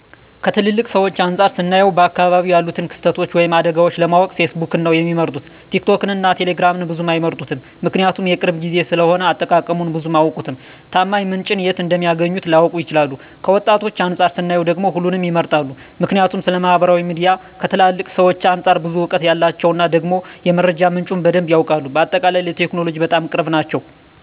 ከትላልቅ ሰዎች አንፃር ስናየው በአካባቢው ያሉትን ክስተቶች ወይም አደጋዎችን ለማወቅ ፌስቡክን ነው ሚመርጡት ቲክቶክን እና ቴሌግራምን ብዙም አይመርጡትም ምክንያቱም የቅርብ ጊዜ ስለሆነ አጠቃቀሙን ብዙም አያውቁትም፣ ታማኝ ምንጭን የት እንደሚያገኙት ላያውቁ ይችላሉ። ከወጣቶች አንፃር ስናየው ደግሞ ሁሉንም ይመርጣሉ ምክንያቱም ስለማህበራዊ ሚዲያ ከትላልቅ ሰዎች አንፃር ብዙ እውቀት አላቸው እና ደግሞ የመረጃ ምንጩም በደንብ ያውቃሉ። በአጠቃላይ ለቴክኖሎጂ በጣም ቅርብ ናቸው